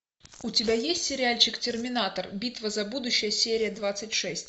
у тебя есть сериальчик терминатор битва за будущее серия двадцать шесть